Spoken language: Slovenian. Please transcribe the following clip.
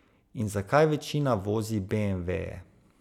In zakaj večina vozi beemveje?